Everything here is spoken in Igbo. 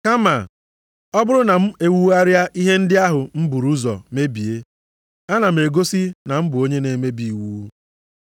Kama, ọ bụrụ na m ewugharịa ihe ndị ahụ m buru ụzọ mebie, ana m egosi na m bụ onye na-emebi iwu.